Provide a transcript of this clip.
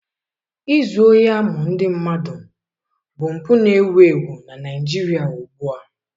Izu ohi amụ ndị mmadụ bụ mpụ na-ewu ewu na Naijiria ugbu a.